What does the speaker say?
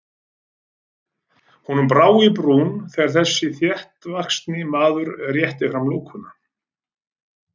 Honum brá í brún þegar þessi þéttvaxni maður rétti fram lúkuna.